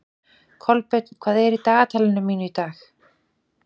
Kolbeinn, hvað er í dagatalinu mínu í dag?